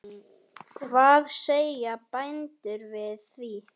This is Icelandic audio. Hvað segja bændur við því?